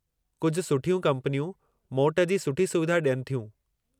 कुझु सुठियूं कम्पनियूं मोट जी सुठी सुविधा ॾियनि थियूं।